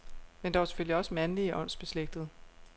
Men der var selvfølgelig også mandlige åndsbeslægtede.